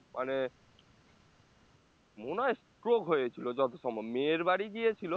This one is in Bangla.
মানে মনে হয় stroke হয়েছিল যতসম্ভব মেয়ের বাড়ি গিয়েছিলো